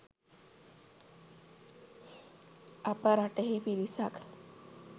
අප රටෙහි පිරිසක්